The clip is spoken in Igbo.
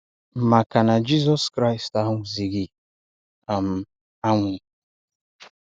Maka na Jizọs Kraịst anwụghịzị um anwụ.